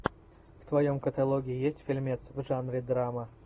в твоем каталоге есть фильмец в жанре драма